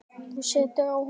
Þú situr á honum, amma!